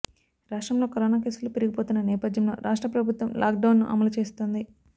రాష్ట్రంలో కరోనా కేసులు పెరిగిపోతున్న నేపథ్యంలో రాష్ట్ర ప్రభుత్వం లాక్ డౌన్ ను అమలు చేస్తోంది